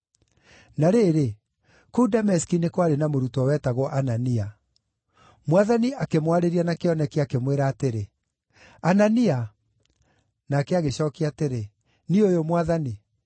Na rĩrĩ, kũu Dameski nĩ kwarĩ na mũrutwo wetagwo Anania. Mwathani akĩmwarĩria na kĩoneki, akĩmwĩra atĩrĩ, “Anania!” Nake agĩcookia atĩrĩ, “Niĩ ũyũ Mwathani.”